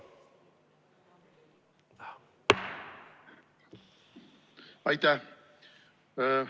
Aitäh!